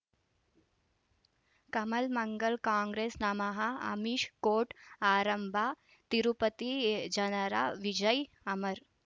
ಕಮಲ್ ಮಂಗಳ್ ಕಾಂಗ್ರೆಸ್ ನಮಃ ಅಮಿಷ್ ಕೋರ್ಟ್ ಆರಂಭ ತಿರುಪತಿ ಜನರ ವಿಜಯ ಅಮರ್